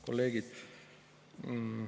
Kolleegid!